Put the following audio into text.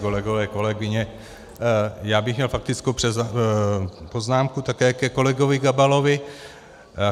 Kolegové, kolegyně, já bych měl faktickou poznámku také ke kolegovi Gabalovi.